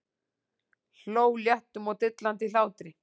Hló léttum og dillandi hlátri.